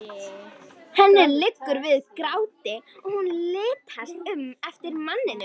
Henni liggur við gráti og hún litast um eftir manninum.